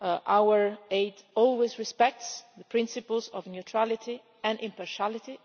Our aid always respects the principles of neutrality and impartiality.